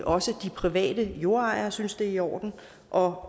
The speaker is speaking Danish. også de private jordejere synes det er i orden og